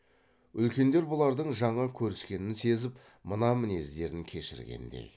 үлкендер бұлардың жаңа көріскенін сезіп мына мінездерін кешіргендей